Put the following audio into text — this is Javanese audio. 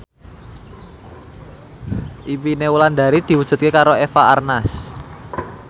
impine Wulandari diwujudke karo Eva Arnaz